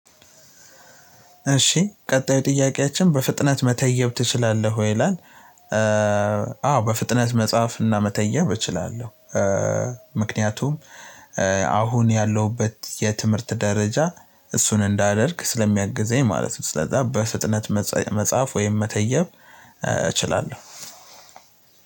እሺ ቀጣዩ ጥያቄያችን በፍጥነት መተየብ ትችላለህ ይላል? አዎ በፍጥነት መጽሐፍ እና መተየብ እችላለሁ። ምክንያቱም አሁን ያለሁበት የትምህርት ደረጃ እሱን እንዳደርግ ስለሚያግዘኝ ማለት ነው። ስለዛ በፍጥነት መጽሐፍ ወይም መተየብ እችላለሁ።